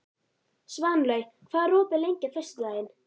Svanlaug, hvað er opið lengi á föstudaginn?